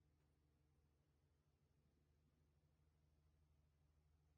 Sidee loo ogaadaa cilada Parsonage Turnerka?